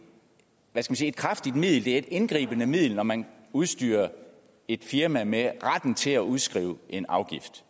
kraftigt middel det er et indgribende middel når man udstyrer et firma med retten til at udskrive en afgift